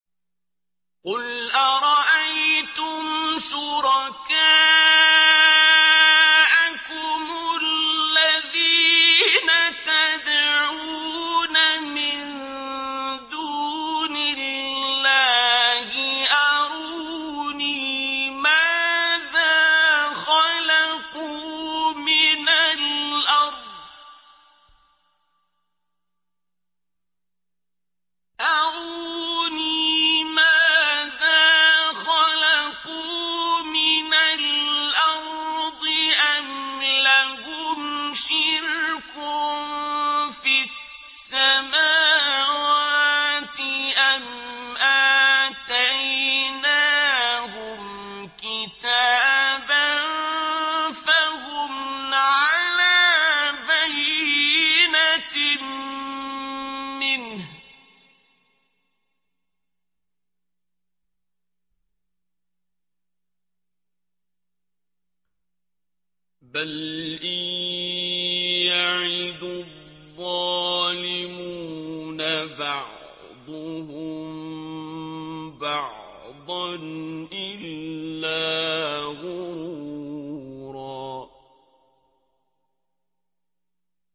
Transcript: قُلْ أَرَأَيْتُمْ شُرَكَاءَكُمُ الَّذِينَ تَدْعُونَ مِن دُونِ اللَّهِ أَرُونِي مَاذَا خَلَقُوا مِنَ الْأَرْضِ أَمْ لَهُمْ شِرْكٌ فِي السَّمَاوَاتِ أَمْ آتَيْنَاهُمْ كِتَابًا فَهُمْ عَلَىٰ بَيِّنَتٍ مِّنْهُ ۚ بَلْ إِن يَعِدُ الظَّالِمُونَ بَعْضُهُم بَعْضًا إِلَّا غُرُورًا